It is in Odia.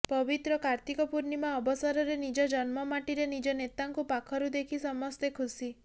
ପବିତ୍ର କାର୍ତ୍ତିକ ପୂର୍ଣ୍ଣିମା ଅବସରରେ ନିଜ ଜନ୍ମ ମାଟିରେ ନିଜ ନେତାଙ୍କୁ ପାଖରୁ ଦେଖି ସମସ୍ତେ ଖୁସି